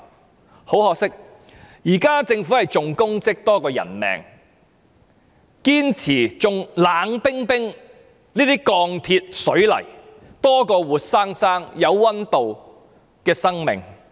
但很可惜，現時政府重功績多於人命，重視這些冷冰冰的鋼鐵水泥，多於活生生有溫度的生命。